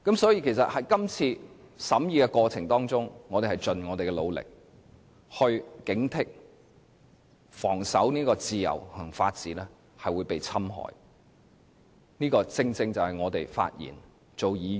所以，在今次審議過程中，我們已盡力警惕，防守自由和法治會被侵害，這個正正是我們發言和當議員的原因。